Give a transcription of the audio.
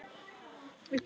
Ég þarf þín ekki með.